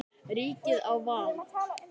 Ríkið á val.